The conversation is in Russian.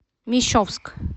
мещовск